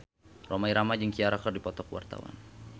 Rhoma Irama jeung Ciara keur dipoto ku wartawan